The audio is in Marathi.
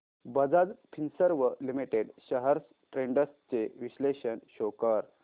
Bajaj Finserv limited shares trends चे विश्लेषण शो कर